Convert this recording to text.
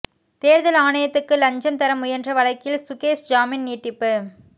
தேர்தல் ஆணையத்துக்கு லஞ்சம் தர முயன்ற வழக்கில் சுகேஷ் ஜாமின் நீட்டிப்பு